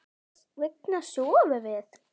Hvers vegna sofum við?